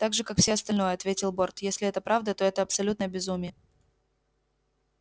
так же как всё остальное ответил борт если это правда то это абсолютное безумие